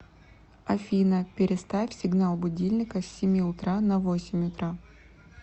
афина переставь сигнал будильника с семи утра на восемь утра